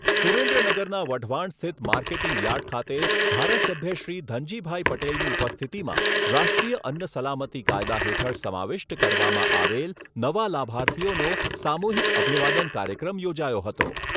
સુરેન્દ્રનગરના વઢવાણ સ્થિત marketing yard ખાતે ધારાસભ્યશ્રી ધનજીભાઈ પટેલની ઉપસ્થિતિમાં રાષ્ટ્રીય અન્ન સલામતી કાયદા હેઠળ સમાવિષ્ટ કરવામાં આવેલ નવા લાભાર્થીઓનો સામૂહિક અભિવાદન કાર્યક્રમ યોજાયો હતો.